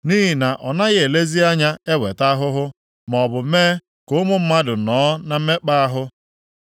Nʼihi na ọ naghị elezi anya eweta ahụhụ, maọbụ mee ka ụmụ mmadụ nọọ na mmekpa ahụ.